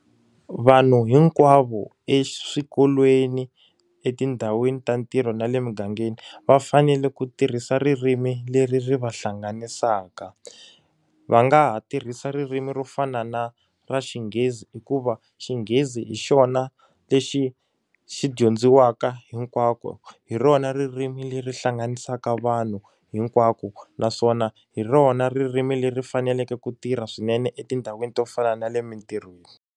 Vanhu hinkwavo eswikolweni etindhawini ta ntirho na le mugangeni va fanele ku tirhisa ririmi leri ri va hlanganisaka. Va nga ha tirhisa ririmi ro fana na ra xinghezi hikuva xinghezi hi xona lexi xi dyondzisiwaka hinkwako, hi rona ririmi leri hlanganisaka vanhu hinkwako. Naswona hi rona ririmi leri faneleke ku tirha swinene etindhawini to fana na le emintirhweni.